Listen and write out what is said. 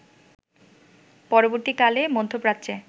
পরবর্তীকালে মধ্যপ্রাচ্যে